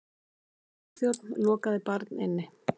Flugþjónn lokaði barn inni